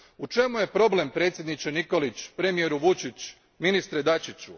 U čemu je problem predsjedniče Nikoliću, premijeru Vučiću, ministre Dačiću?